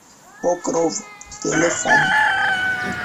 покров телефон